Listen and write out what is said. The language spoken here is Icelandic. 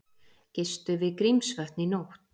Gistu við Grímsvötn í nótt